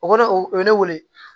O kɔrɔ o ye ne wele